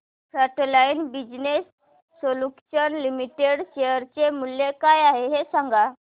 frontline business solutions limited share चे मूल्य काय आहे हे सांगा